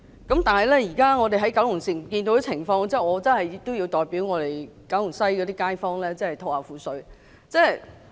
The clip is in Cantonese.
但是，看到現時九龍城的情況，我真的要代九龍西的街坊吐苦水。